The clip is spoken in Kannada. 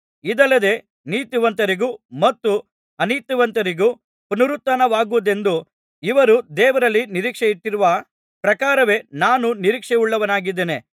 ಇದಲ್ಲದೆ ನೀತಿವಂತರಿಗೂ ಮತ್ತು ಅನೀತಿವಂತರಿಗೂ ಪುನರುತ್ಥಾನವಾಗುವುದೆಂದು ಇವರು ದೇವರಲ್ಲಿ ನಿರೀಕ್ಷೆಯಿಟ್ಟಿರುವ ಪ್ರಕಾರವೇ ನಾನೂ ನಿರೀಕ್ಷೆಯುಳ್ಳವನಾಗಿದ್ದೇನೆ